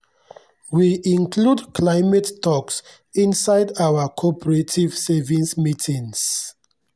we include climate talks inside our cooperative savings meetings.